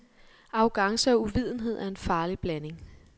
Arrogance og uvidenhed er en farlig blanding.